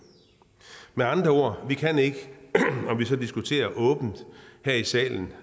med andre ord vi kan ikke om vi så diskuterer åbent her i salen